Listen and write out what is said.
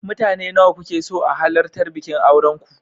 Mutane nawa kuke so a halartar bikin auren ku.